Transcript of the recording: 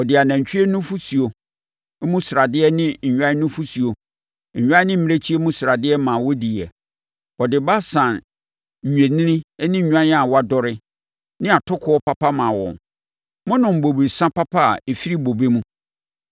Ɔde anantwie nufosuo mu sradeɛ ne nnwan nufosuo, nnwan ne mmirekyie mu sradeɛ ma wɔdiiɛ. Ɔde Basan nnwennini ne nnwan a wɔadɔre, ne atokoɔ papa maa wɔn. Monom bobesa papa a ɛfiri bobe mu.